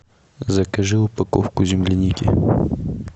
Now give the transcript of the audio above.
закажи упаковку земляники